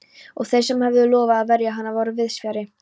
Og þeir sem höfðu lofað að verja hann voru víðsfjarri.